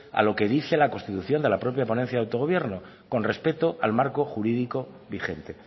a lo que dice la constitución de la propia ponencia de autogobierno con respeto al marco jurídico vigente